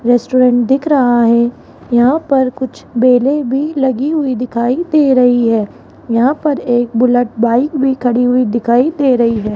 Restaurant दिख रहा है यहां पर कुछ बेले भी लगी हुई दिखाई दे रही है यहां पर एक बुलेट बाइक भी खड़ी हुई दिखाई दे रही है।